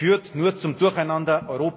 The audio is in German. Das führt nur zum Durcheinander.